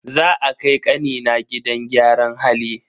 Za a kai kanina gidan gyaran hali.